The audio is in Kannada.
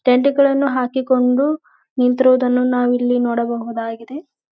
ಟೆಂಟ್ ಗಳನ್ನೂ ಹಾಕಿಕೊಂಡು ನಿಂತಿರುವುದನ್ನು ನಾವು ಇಲ್ಲಿ ನೋಡಬಹುದಾಗಿದೆ.